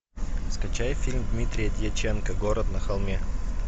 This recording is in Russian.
скачай фильм дмитрия дьяченко город на холме